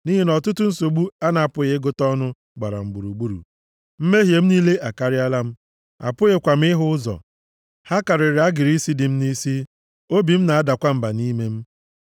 Nʼihi na ọtụtụ nsogbu a na-apụghị ịgụta ọnụ gbara m gburugburu; mmehie m niile akarịala m, apụghịkwa m ịhụ ụzọ: ha karịrị agịrị isi dị m nʼisi, obi m na-adakwa mba nʼime m.